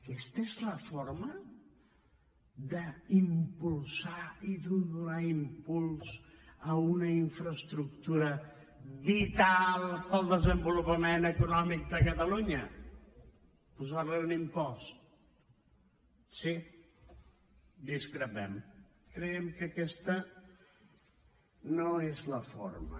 aquesta és la forma d’impulsar i de donar impuls a una infraestructura vital per al desenvolupament econòmic de catalunya posarli un impost sí discrepem creiem que aquesta no és la forma